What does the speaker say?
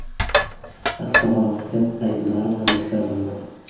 Avtohalokat aybdori hibsga olindi.